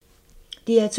DR2